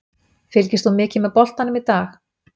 Fylgist þú mikið með boltanum í dag?